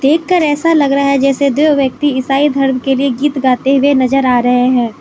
कर ऐसा लग रहा है जैसे दो व्यक्ति ईसाई धर्म के लिए गीत गाते हुए नजर आ रहे हैं।